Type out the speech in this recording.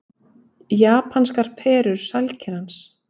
Japanskar perur sælkerans